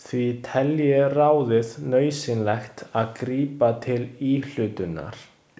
Því telji ráðið nauðsynlegt að grípa til íhlutunar.